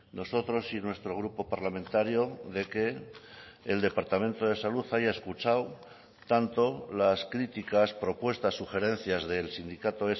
nosotros y nuestro grupo parlamentario de que el departamento de salud haya escuchado tanto las críticas propuestas sugerencias del sindicato